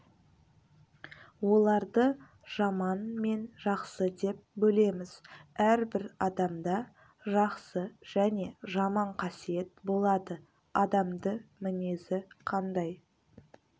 оларды жаман мен жақсы деп бөлеміз әрбір адамда жақсы және жаман қасиет болады адамды мінезі қандай